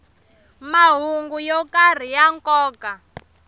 mahungu yo karhi ya nkoka